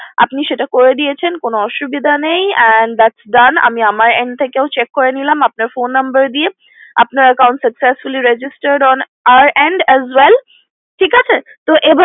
আপনি সেটা করে দিয়েছেন কোনো অসুবিধা নেই that's done and আমি আমার end থেকেও check করে নিলাম আপনার phone number দিয়ে আপনার account successfully registered on আর as well ঠিক আছে তো এবার